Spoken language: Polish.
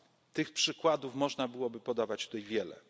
z Mjanmy. Tych przykładów można byłoby podawać